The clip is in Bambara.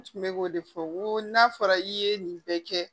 N tun bɛ k'o de fɔ n ko n'a fɔra i ye nin bɛɛ kɛ